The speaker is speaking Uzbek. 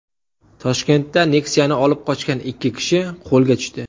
Toshkentda Nexia’ni olib qochgan ikki kishi qo‘lga tushdi.